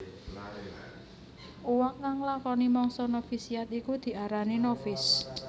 Uwong kang nglakoni mangsa novisiat iku diarani novis